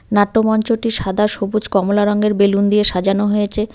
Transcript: নাট্যমঞ্চটি সাদা সবুজ কমলা রঙের বেলুন দিয়ে সাজানো হয়েছে।